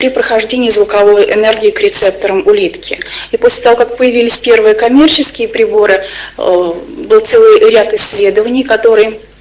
и прохождение звуковой энергии к рецепторам улитки и после того как появились первые коммерческие приборы был целый ряд исследований который